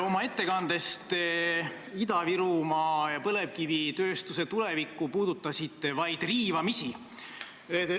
Oma ettekandes puudutasite te Ida-Virumaa ja põlevkivitööstuse tulevikku vaid riivamisi.